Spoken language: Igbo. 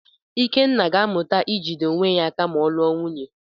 Ikenna ga-amụta ijide onwe ya aka ma ọ lụọ nwunye.